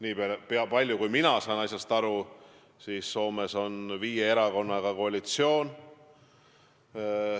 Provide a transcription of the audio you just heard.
Nii palju kui mina asjast aru saan, on Soomes viie erakonnaga koalitsioon.